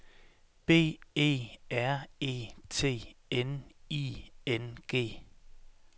B E R E T N I N G